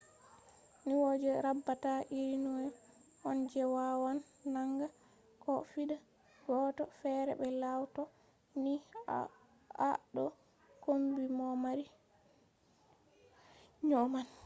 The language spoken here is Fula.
nyau je raɓata iri nyau on je wawan nanga ko fiɗa goɗɗo fere be law to ni a ɗo kombi mo mari nyau man